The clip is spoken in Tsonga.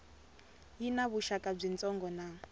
yi na vuxaka byitsongo na